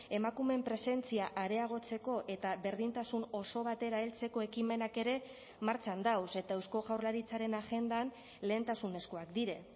emakumeen presentzia areagotzeko eta berdintasun oso batera heltzeko ekimenak ere martxan dagoz eta eusko jaurlaritzaren agendan lehentasunezkoak dira